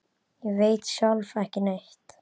Ég veit sjálf ekki neitt.